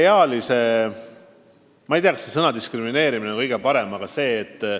Nüüd, ma ei tea, kas sõna "diskrimineerimine" kasutada on kõige õigem.